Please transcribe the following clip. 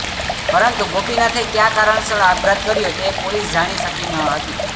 પરંતુ ગોપીનાથે ક્યાં કારણસર આપઘાત કર્યો તે પોલીસ જાણી શકી ન હતી